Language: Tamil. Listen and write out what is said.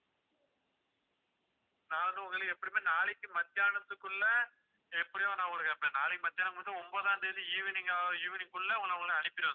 ஆஹ் நானும், உங்களையும் எப்படியுமே நாளைக்கு மத்தியானத்துக்குள்ள எப்படியோ நான் ஒரு நாளைக்கு மத்தியானம் மட்டும் ஒன்பதாம் தேதி evening அ evening குள்ள உங்க~ உங்களை அனுப்பிருவேன் sir